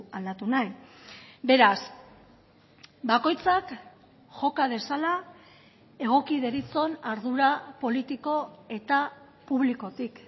aldatu nahi beraz bakoitzak joka dezala egoki deritzon ardura politiko eta publikotik